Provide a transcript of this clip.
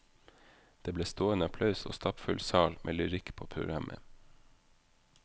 Det ble stående applaus og stappfull sal med lyrikk på programmet.